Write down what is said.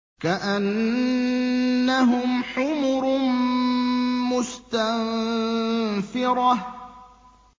كَأَنَّهُمْ حُمُرٌ مُّسْتَنفِرَةٌ